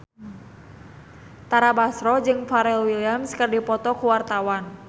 Tara Basro jeung Pharrell Williams keur dipoto ku wartawan